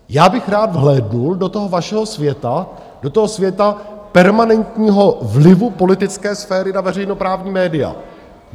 Já bych rád vhlédnul do toho vašeho světa, do toho světa permanentního vlivu politické sféry na veřejnoprávní média.